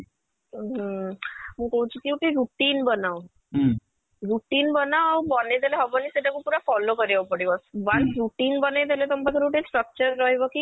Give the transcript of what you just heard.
ଉଁ ହୁଁ ମୁଁ କହୁଛି କି ଗୋଟେ routine ବନାଅ routine ବନାଅ ଆଉ ବେଇ ଦେଲେ ହବନି ସେଇଟା କୁ ପୁରା follow କରିବାକୁ ପଡିବ once routine ବନେଇ ଦେଲେ ତମ ପାଖରେ ଗୋଟେ structure ରହିବ କି